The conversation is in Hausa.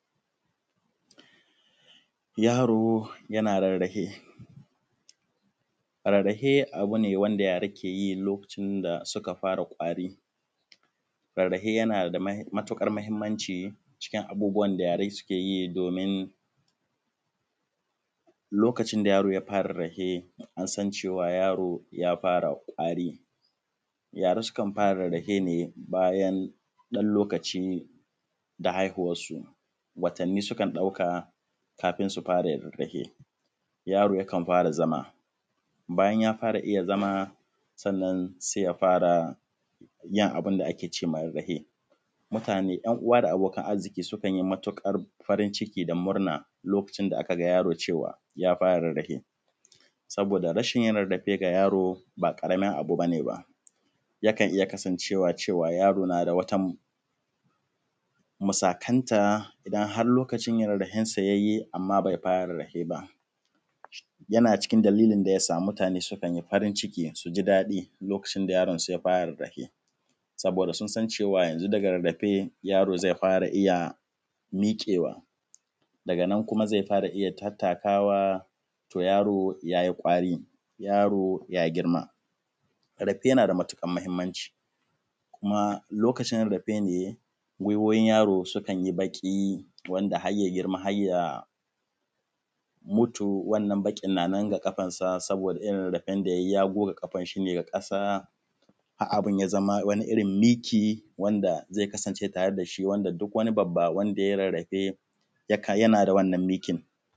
Yaro yana rarrafe, rararrafe abu ne wanda yara ke yi lokacin da suka fara ƙwari, rarrafe yana da matuƙar mahinmanci cikin abubuwan da yara ke yi domin lokacin da yaro ya fara rarrahe an san cewa yaro ya fara kwari. Ka ga sukan fara rarrafe ne yayin ɗan lokaci da haihuwnsu watanni sukan ɗauka kafun su fara rarrafe, yaro yakan fara zama bayan ya fara iya zama bayan ya fara iya zama sannan se ya fara yin abun da ake ce ma rarrafe, ‘yan uwa da abokan arziki sukan yi matuƙar farin ciki da murna lokacin da aka ga yaro cewa ya fara rarrafe; saboda rashin rarrafe da yaro ba ƙaramin illa ba ce. Ba ze iya kasance yaro na da wata musakanta har lokacin yana da ɗan tsayayye, amma be fara rarrafe ba, yana cikin dalilin da kan sa mutane su yi farin ciki su ji daɗi lokacin da yaron su ya fara rarrahe saboda sun san cewa yanzu daga rarrahe yaro ze fara iya miƙewa daga nan kuma ze fara iya tattakawa; to yaro yayi ƙwari, yaro ya girma. Rarrafe yana da matuƙar mahinmanci kuma lokacin rarrafe ne gwiwowin yaro yake baƙi wanda har ya girma yakan mutu wannan baƙin na nan a ƙafansa, saboda rarrafen da ya yi ya goga ƙafan shi ne a ƙasa har abun ya zama wani irin miki, wanda ze zama ze kasance tare da shi wanda duk wani babba wanda ya yi rurrufe ze kasance tare da shi.